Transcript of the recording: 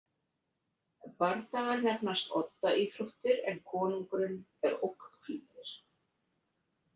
Bardagar nefnast odda íþróttir en konungurinn er ógnflýtir.